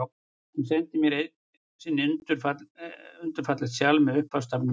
Hann sendi mér einu sinni undur fallegt sjal, með upphafsstafnum mínum.